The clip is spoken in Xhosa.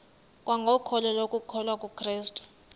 kwangokholo lokukholwa kukrestu